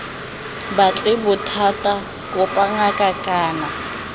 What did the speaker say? batle bothata kopa ngaka kana